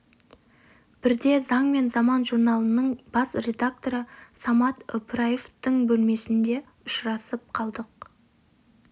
бірде заң және заман журналының бас редакторы самат ыбырайымовтың бөлмесінде ұшырасып қалдық